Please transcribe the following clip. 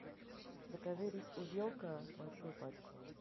закажи рис увелка большую пачку